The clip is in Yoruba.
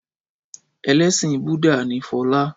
Ẹlẹ́sìn Búdà ni Fọlá.